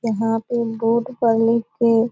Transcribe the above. यहाँ पे बोर्ड --